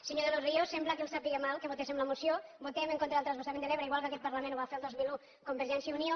senyor de los ríos sembla que els sàpiga greu que votem la moció votem en contra del transvasament de l’ebre igual que en aquest parlament ho va fer el dos mil un convergència i unió